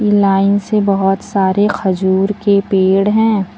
Line से बहोत सारे खजूर के पेड़ हैं।